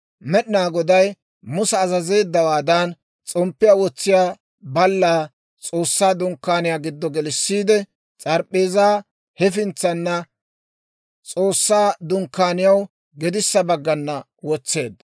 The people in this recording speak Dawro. Med'inaa Goday Musa azazeeddawaadan, s'omppiyaa wotsiyaa ballaa S'oossaa Dunkkaaniyaa giddo gelissiide, s'arp'p'eezaa hefintsana, S'oossaa Dunkkaaniyaw gedissa baggana wotseedda;